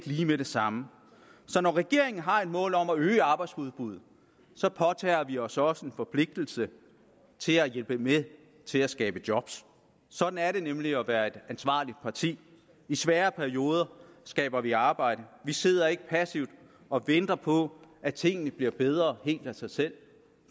lige med det samme så når regeringen har et mål om at øge arbejdsudbuddet så påtager vi os også en forpligtelse til at hjælpe med til at skabe job sådan er det nemlig at være et ansvarligt parti i svære perioder skaber vi arbejde vi sidder ikke passivt og venter på at tingene bliver bedre helt af sig selv